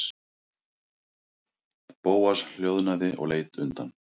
Bóas hljóðnaði og leit undan.